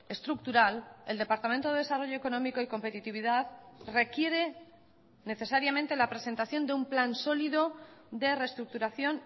estructural el departamento de desarrollo económico y competitividad requiere necesariamente la presentación de un plan sólido de reestructuración